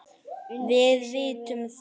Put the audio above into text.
Undi sér við að horfa.